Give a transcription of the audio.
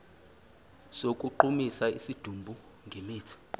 sokugqumisa isidumbu ngemithi